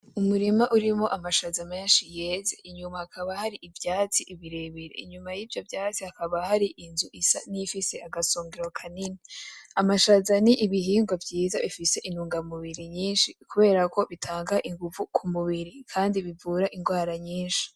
Umurima urimwo amashaza menshi yeze inyuma hakaba hari ivyatsi birebire inyuma yivyo vyatsi hakaba hari inzu isa niyifise agasongero kanini, amashaza n'ibihingwa vyiza bifise intunga mubiri nyinshi kuberako bitanga inguvu kumubiri kandi bivura ingwara nyinshi.